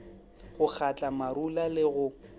go kgatla marula le go